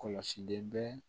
Kɔlɔsilen bɛ